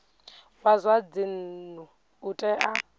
wa zwa dzinnu u tea